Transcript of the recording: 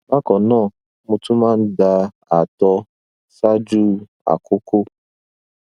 bákan náà mo tún máa ń da ààtọ ṣáájú àkókò